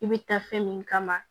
I bɛ taa fɛn min kama